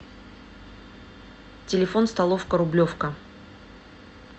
телефон столовка рублевка